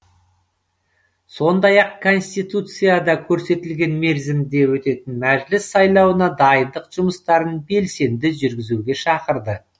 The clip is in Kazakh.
сондай ақ конституцияда көрсетілген мерзімде өтетін мәжіліс сайлауына дайындық жұмыстарын белсенді жүргізуге шақырды